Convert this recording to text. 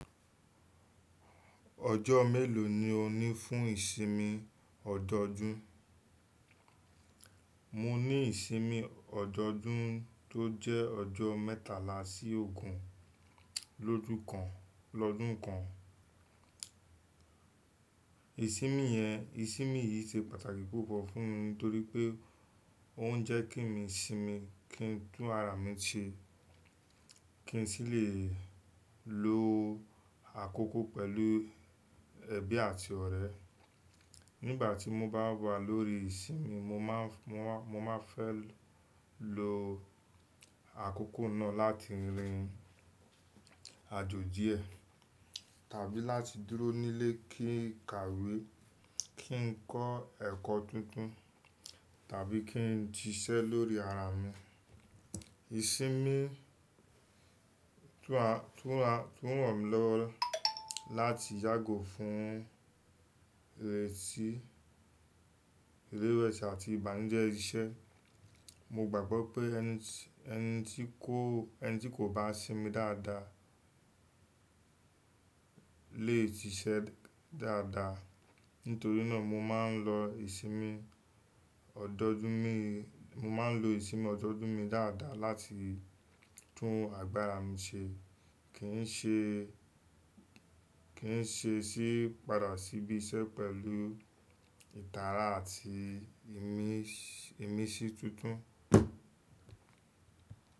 Ọjọ́ mélòó ni o ní fún ìsinmi ọjọ́ ọdún? Mo ní ìsinmi ọjọ́ ọdún tó jẹ́ ọjọ́ mẹ́tàlá sí ogún lójú kan lọ́dún kan. Ìsinmi yẹn ìsinmi yìí ṣe pàtàkì púpọ̀ fún mi nítorí pé ó ń jẹ́ kí mi sinmi, kí n tún ara mi ṣe, kí n sì lè lo àkókò pẹ̀lú ẹbí àti ọ̀rẹ́. Nígbà tí mo bá wà lórí ìsinmi, mo má, mo má, mo máa ń fẹ́ lo àkókò náà láti rin àjò díẹ̀ tàbí láti dúró nílé kí n kàwé, kí n kọ́ ẹ̀kọ́ tuntun tàbí kí n síṣẹ́ lórí ara mi. Ìsinmi tún ràn mí lọ́wọ́ láti yágò fún ìrẹsì ìrẹwesì àti ìbànújẹ́ iṣẹ́. Mo gbàgbọ́ pé ẹni tí kò bá sinmi dáadáa lè ṣiṣẹ́ dáadáa. Nítorí náà mo mo máa ń lo ìsinmi ọjọ́ ọdún mi dáadáa láti tún agbára mi ṣe, kí n ṣe sì padà ṣí bí iṣẹ́ pẹ̀lú ìdára àti imins-- ìmísí tuntun.